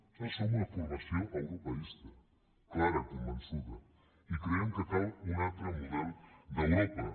nosaltres som una formació europeista clara convençuda i creiem que cal un altre model d’europa